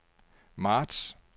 marts